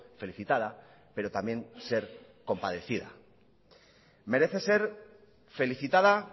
felicitada pero también ser compadecida merece ser felicitada